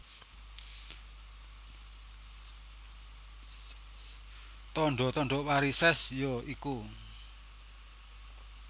Tandha tandha varisès ya iku